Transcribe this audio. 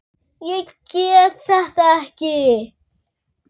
Ég get þetta ekki.